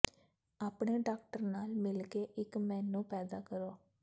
ਆਪਣੇ ਡਾਕਟਰ ਨਾਲ ਮਿਲ ਕੇ ਇੱਕ ਮੇਨੂ ਪੈਦਾ ਕਰੋ